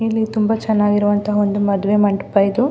ಇಲ್ಲಿ ತುಂಬ ಚೆನ್ನಾಗಿರುವಂತಹ ಮದುವೆ ಮಂಟಪ ಇದು.